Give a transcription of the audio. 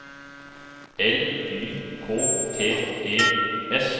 L Y K T E S